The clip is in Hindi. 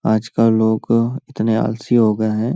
आज कल लोग इतने आलसी हो गए हैं।